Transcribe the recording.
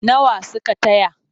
Nawa suka taya?